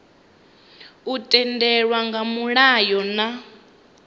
u tendelwa nga mulayo na